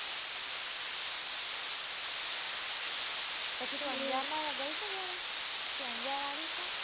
પછી તું અંજાર માં ગઈ છે ક્યારે કે અંજાર આવી છે